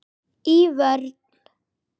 Í vörn.